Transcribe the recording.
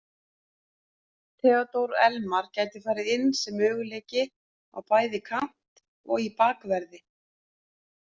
Theodór Elmar gæti farið inn sem möguleiki á bæði kant og í bakverði.